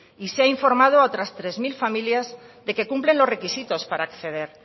y se ha informado a otras tres mil familias de que cumplen los requisitos para acceder